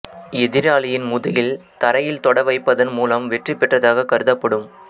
எதிராளியின் முதுகில் தரையில் தொட வைப்பதன் மூலம் வெற்றி பெற்றதாக கருதப்படும்